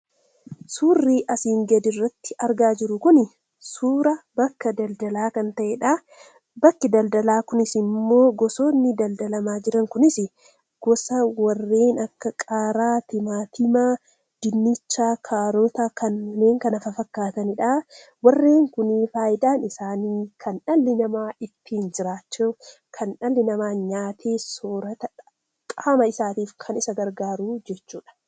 Suurri asii gaditti argaa jirru kun suura bakka daldalaa kan ta'eedha. Bakki daldalaa kunis immoo, gosoonni daldalamaa jiran kunis; gosa warreen akka qaaraa, timaatima, dinnicha, kaarotaa fi kanneen kana fafakkaataniidha. Warreen kun faayidaan isaanii kan dhalli namaa ittiin jiraatu, kan dhalli namaa nyaatee soorata qaama isaatiif kan isa gargaaru jechuudha.